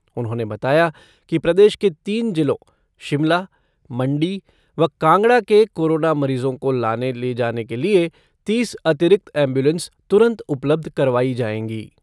उन्होंने बताया कि प्रदेश के तीन जिलों शिमला, मण्डी व कांगड़ा के कोरोना मरीजों को लाने ले जाने के लिए तीस अतिरिक्त एम्बुलेंस तुरन्त उपलब्ध करवाई जाएंगी।